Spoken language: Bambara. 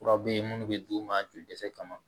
Kura bɛ yen minnu bɛ d'u ma joli dɛsɛ kama